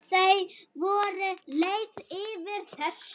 Þau voru leið yfir þessu.